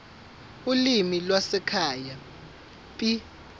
ulimi lwasekhaya p